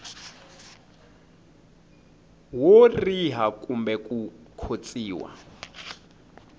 wo riha kumbe ku khotsiwa